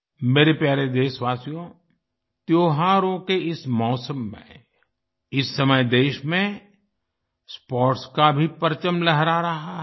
मेरे प्यारे देशवासियों त्योहारों के इस मौसम में इस समय देश में स्पोर्ट्स का भी परचम लहरा रहा है